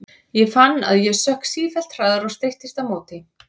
Ég fann að ég sökk sífellt hraðar og streittist á móti.